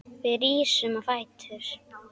Við rísum á fætur.